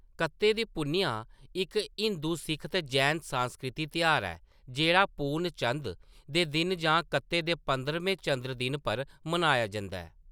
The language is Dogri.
कत्ते दी पुन्नेआ इक हिंदू, सिक्ख ते जैन सांस्कृतिक तेहार ऐ जेह्‌‌ड़ा पूर्णचंद दे दिन जां कत्ते दे पंदरमें चंद्र दिन पर मनाया जंदा ऐ।